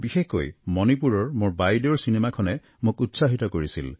বিশেষকৈ মণিপুৰৰ মোৰ বাইদেউৰ চিনেমাখনে মোক উৎসাহিত কৰিছিল